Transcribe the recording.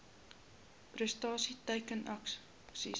prestasie teiken aksies